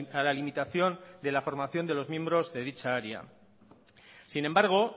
a la limitación de la formación de los miembros de dicha área sin embargo